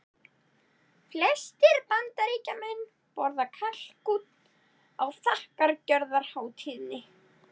Flestir Bandaríkjamenn borða kalkún á þakkargjörðarhátíðinni.